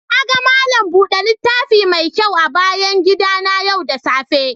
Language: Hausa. Na gan malam bude littafi mai kyau a bayan gida na yau da safe.